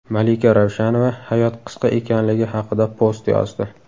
Malika Ravshanova hayot qisqa ekanligi haqida post yozdi.